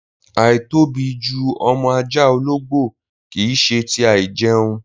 Àìtóbi ju ọmọ ajá ológbò kì í ṣe ti a àìjẹ̀un